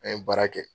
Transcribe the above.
An ye baara kɛ